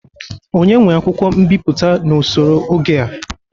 Onye nwe akwụkwọ mbịpụta n'osoro oge a?